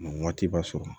waati b'a sɔrɔ